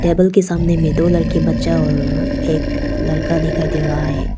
Table के सामने में दो लड़की बच्चा और एक लड़का दिखाई दे रहा है।